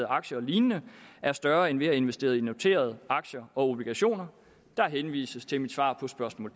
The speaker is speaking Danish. aktier og lignende er større end ved at investere i noterede aktier og obligationer der henvises til mit svar på spørgsmål